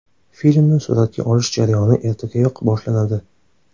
Filmni suratga olish jarayoni ertagayoq boshlanadi.